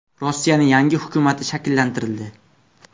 Rossiyaning yangi hukumati shakllantirildi.